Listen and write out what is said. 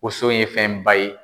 wonso ye fɛnba ye.